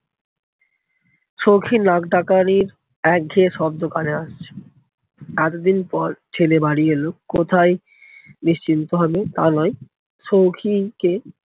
সৌখীর নাক ডাকানির একঘেয়ে শব্দ কানে আসছে। এতদিন পর ছেলে বাড়ি এলো কোথায় নিশ্চিন্ত হবে তা নয় সৌখী কে